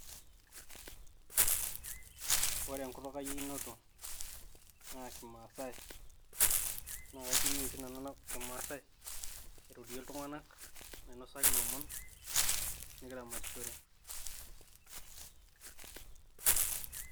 Ore enkutuk ai e inoto naa kimaasai. Naa kai tumia oshi nanu kimaasai airorie iltung`anak nainosaki lomon nikiramatishore.